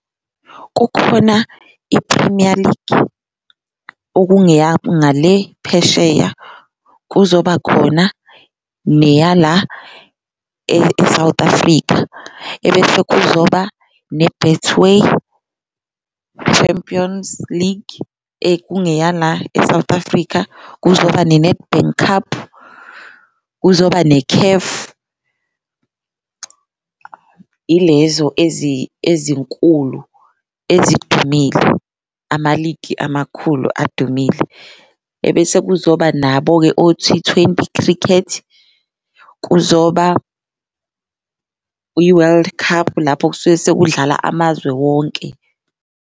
Kukhona i-Premier League okungeyangale phesheya, kuzoba khona neya la e-South Africa, ebese kuzoba ne-Betway Champions League ekungeya la e-South Africa, kuzoba ne-Nedbank Cup, kuzoba ne-CAF. Ilezo ezinkulu ezidumile, amaligi amakhulu adumile ebese kuzoba nabo-ke o-T-twenty cricket, kuzoba i-World Cup lapho kusuke sekudlala amazwe wonke.